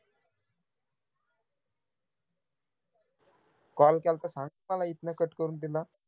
call केला होता इथन cut करून तिला